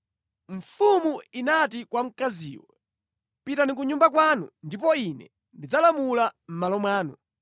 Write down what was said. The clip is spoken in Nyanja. Mfumu inati kwa mkaziyo, “Pitani ku nyumba kwanu ndipo ine ndidzalamula mʼmalo mwanu.”